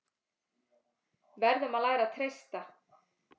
Verðum að læra að treysta